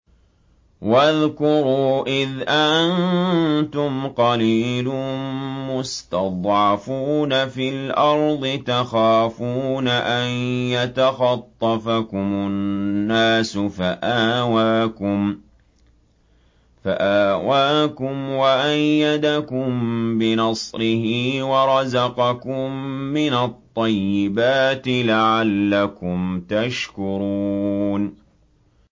وَاذْكُرُوا إِذْ أَنتُمْ قَلِيلٌ مُّسْتَضْعَفُونَ فِي الْأَرْضِ تَخَافُونَ أَن يَتَخَطَّفَكُمُ النَّاسُ فَآوَاكُمْ وَأَيَّدَكُم بِنَصْرِهِ وَرَزَقَكُم مِّنَ الطَّيِّبَاتِ لَعَلَّكُمْ تَشْكُرُونَ